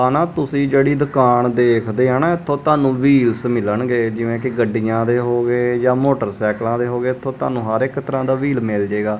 ਆਹ ਨਾ ਤੁਸੀਂ ਜਿਹੜੀ ਦੁਕਾਨ ਦੇਖਦੇ ਆ ਨਾ ਇੱਥੋਂ ਤੁਹਾਨੂੰ ਵ੍ਹੀਲਸ ਮਿਲਣਗੇ ਜਿਵੇਂ ਕੀ ਗੱਡੀਆਂ ਦੇ ਹੋਗੇ ਜਾ ਮੋਟਰਸਾਈਕਲਾਂ ਦੇ ਹੋਗੇ ਇੱਥੋਂ ਤੁਹਾਨੂੰ ਹਰ ਇਕ ਤਰਹਾਂ ਦਾ ਵ੍ਹੀਲ ਮਿਲ ਜੇਗਾ।